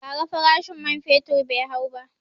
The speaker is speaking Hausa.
Ba ra farashin man fetur bai hau ba